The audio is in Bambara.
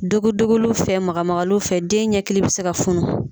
Dogo dogoliw fɛ maga magaliw fɛ den ɲɛ kili bɛ se ka funu.